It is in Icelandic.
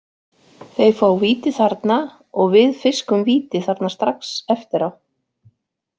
Þeir fá víti þarna og við fiskum víti þarna strax eftir á.